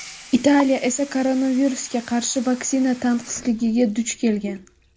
Italiya esa koronavirusga qarshi vaksina tanqisligiga duch kelgan.